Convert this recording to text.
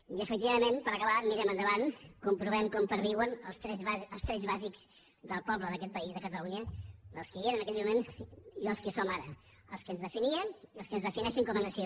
i efectivament per acabar mirem endavant comprovem com perviuen els trets bàsics del poble d’aquest país de catalunya dels que hi eren en aquell moment i els que hi som ara els que ens definien i els que ens defineixen com a nació